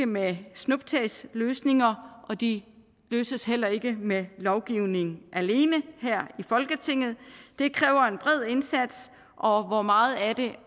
med snuptagsløsninger og de løses heller ikke med lovgivning alene her i folketinget det kræver en bred indsats og og meget af det